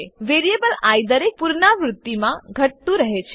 variable I દરેક પુનરાવૃત્તિમાં ઘટતું રહે છે